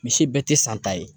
Misi bɛɛ tɛ san ta ye